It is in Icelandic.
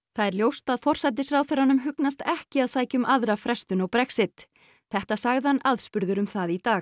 það er ljóst að forsætisráðherranum hugnast ekki að sækja um aðra frestun á Brexit þetta sagði hann aðspurður um það í dag